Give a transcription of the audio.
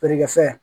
Feere kɛ fɛn